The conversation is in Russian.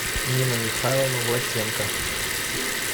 нина михайловна власенко